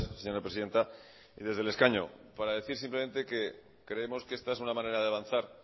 señora presidenta y desde el escaño para decir simplemente que creemos que está es una manera de avanzar